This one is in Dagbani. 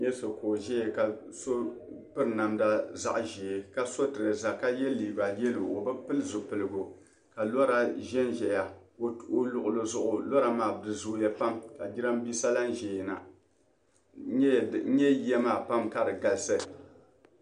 N nyɛsɔ ka ɔʒaya ka sɔ turaza ʒɛɛ ka piri namda zaɣi ʒɛɛka ye liiga yelɔw ɔ bi piliili zu piligu ka lɔra ʒɛnʒɛya ɔluɣili zuɣu lɔra maa bi zooya ka jiranbisa lanʒɛyana, n nyɛ yiya maa pam ka di galisi